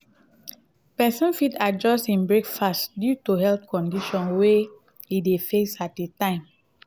pesin fit adjust in breakfast due to health conditions wey in dey face at di time